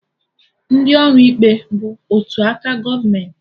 Ndị ọrụ ikpe bụ otu aka gọọmenti